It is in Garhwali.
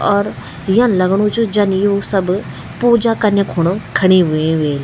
और यन लगणू च कि जन यू सब पूजा कना खुण खड़ी वे ह्वेल।